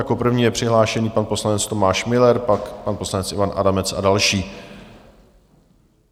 Jako první je přihlášený pan poslanec Tomáš Müller, pak pan poslanec Ivan Adamec a další.